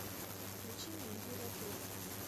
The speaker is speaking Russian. включи мне империя трупов